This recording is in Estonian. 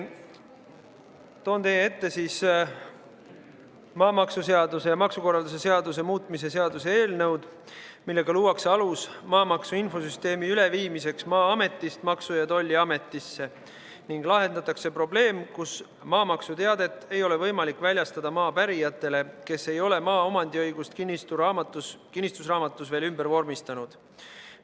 Toon teie ette maamaksuseaduse ja maksukorralduse seaduse muutmise seaduse eelnõu, millega luuakse alus maamaksu infosüsteemi üleviimiseks Maa-ametist Maksu- ja Tolliametisse ning lahendatakse probleem, et maamaksuteadet ei ole võimalik väljastada maa pärijatele, kes ei ole maa omandiõigust kinnistusraamatus veel ümber vormistanud.